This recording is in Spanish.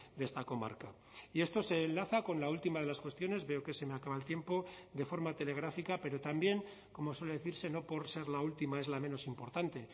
de esta comarca y esto se enlaza con la última de las cuestiones veo que se me acaba el tiempo de forma telegráfica pero también como suele decirse no por ser la última es la menos importante